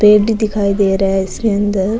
पेड़ भी दिखाई दे रहा है इसके अंदर।